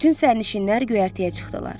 Bütün sərnişinlər göyərtəyə çıxdılar.